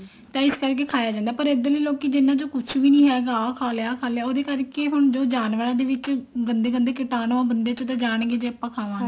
ਤਾਂ ਇਸ ਕਰਕੇ ਖਾਇਆ ਜਾਂਦਾ ਪਰ ਇੱਧਰਲੇ ਲੋਕੀ ਇਹਨਾ ਚ ਕੁਛ ਵੀ ਨੀ ਹੈਗਾ ਆਹ ਖਾ ਲਿਆ ਆਹ ਖਾ ਲਿਆ ਉਹਦੇ ਕਰਕੇ ਹੁਣ ਜਾਨਵਰਾਂ ਦੇ ਵਿੱਚ ਗੰਦੇ ਗੰਦੇ ਕੀਟਾਣੁ ਉਹ ਬੰਦੇ ਚ ਤਾਂ ਜਾਣਗੇ ਜੇ ਆਪਾਂ ਖਾਵਾਂਗੇ